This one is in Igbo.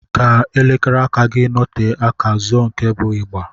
Ka elekere aka gị nọte aka, zụọ nke bụ ịgba.